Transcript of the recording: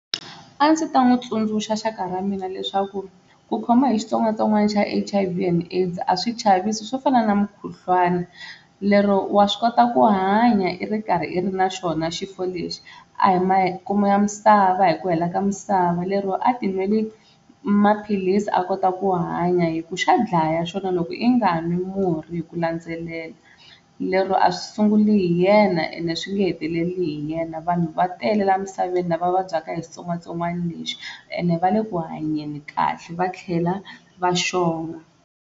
A ndzi ta n'wi tsundzuxa xaka ra mina leswaku ku khoma hi xitsongwatsongwana xa H_I_V and AIDS a swi chavisi swo fana na mukhuhlwani, lero wa swi kota ku hanya i ri karhi i ri na xona xifo lexi a hi makumu ya misava hi ku hela ka misava lero a ti nweli maphilisi a kota ku hanya hi ku xa dlaya xona loko i nga n'wi murhi hi ku landzelela, lero a swi sunguli hi yena ende swi nge heteleli hi yena vanhu va tele la emisaveni lava vabyaka hi xitsongwatsongwana lexi ende va le ku hanyeni kahle va tlhela va xonga.